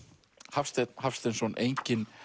Hafsteinn Hafsteinsson enginn